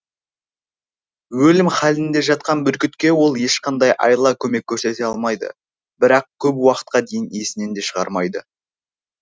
өлім халінде жатқан бүркітке ол ешқандай айла көмек көрсете алмайды бірақ көп уақытқа дейін есінен де шығармайды